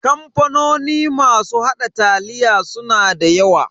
Kamfanoni masu haɗa taliya suna da yawa.